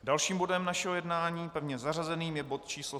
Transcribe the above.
Dalším bodem našeho jednání, pevně zařazeným, je bod číslo